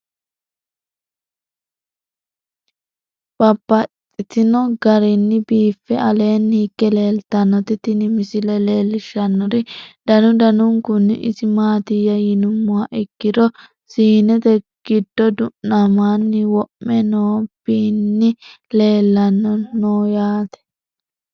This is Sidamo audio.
Babaxxittinno garinni biiffe aleenni hige leelittannotti tinni misile lelishshanori danu danunkunni isi maattiya yinummoha ikkiro siinete gido du'nammanni wo'me noo binni leelanni noo yaatte.